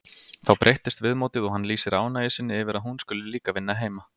Þá breytist viðmótið og hann lýsir ánægju sinni yfir að hún skuli líka vinna heima.